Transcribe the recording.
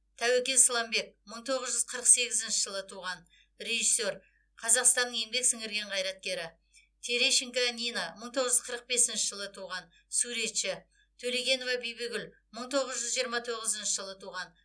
тәуекел сламбек мың тоғыз жүз қырық сегізінші жылы туған режиссер қазақстанның еңбек сіңірген қайраткері терещенко нина мың тоғыз жүз қырық бесінші жылы туған суретші төлегенова бибігүл мың тоғыз жүз жиырма тоғызыншы жылы туған